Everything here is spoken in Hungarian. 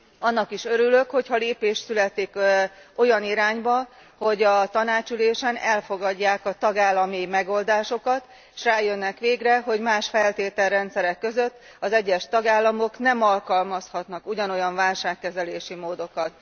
Annak is örülök, hogyha lépés születik olyan irányban, hogy a tanácsi ülésen elfogadják a tagállami megoldásokat, és rájönnek végre, hogy más feltételrendszerek között az egyes tagállamok nem alkalmazhatnak ugyanolyan válságkezelési módokat.